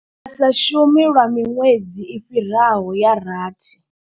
Vha sa shumi lwa miṅwedzi i fhiraho ya rathi.